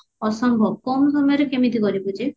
ଅସମ୍ଭବ କମ ସମୟରେ କେମିତି କରିବୁ ଯେ